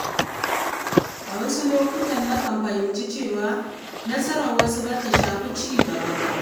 A wasu lokuta, na kan fahimci cewa nasarar wasu bata shafi cigaba ba.